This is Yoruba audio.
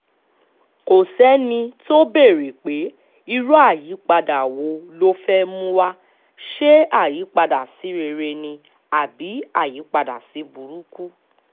kò sẹ́ni tó béèrè pé irú àyípadà wo ló fẹ́ẹ̀ mú wa ṣe àyípadà sí rere ni àbí apàdá-sí-burúkú